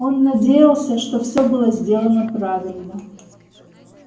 он надеялся что всё было сделано правильно